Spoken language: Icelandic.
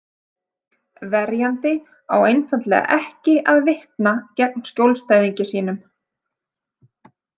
Verjandi á einfaldlega ekki að vitna gegn skjólstæðingi sínum.